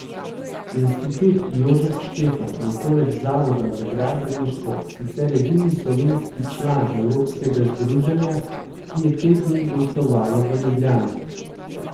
Institut Jožef Štefan je poleg Zavoda za gradbeništvo sicer edini slovenski član evropskega združenja, ki je te dni gostovalo v Ljubljani.